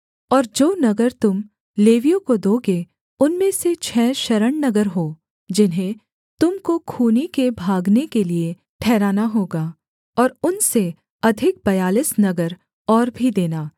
और जो नगर तुम लेवियों को दोगे उनमें से छः शरणनगर हों जिन्हें तुम को खूनी के भागने के लिये ठहराना होगा और उनसे अधिक बयालीस नगर और भी देना